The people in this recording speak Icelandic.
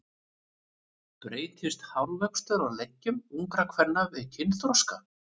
Breytist hárvöxtur á leggjum ungra kvenna við kynþroska?